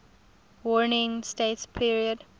warring states period